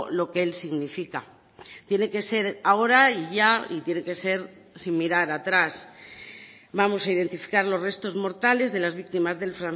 lo que él significa tiene que ser ahora y ya y tiene que ser sin mirar atrás vamos a identificar los restos mortales de las víctimas del